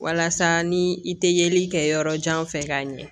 Walasa ni i tɛ yeli kɛ yɔrɔ jan fɛ k'a ɲɛ